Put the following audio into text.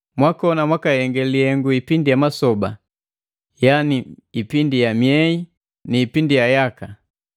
Mwakoni mwakahenge lihengu ipindi ya masoba, ipindi ya myei ni ipindi ya yaka!